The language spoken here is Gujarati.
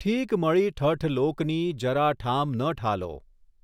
ઠીક મળી ઠઠ લોકની જરા ઠામ ન ઠાલો